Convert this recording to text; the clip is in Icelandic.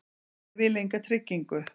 Ég vil enga tryggingu.